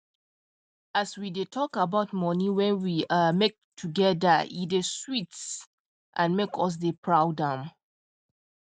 if we dey talk about money wen we um make together e dey sweet and make us dey proud um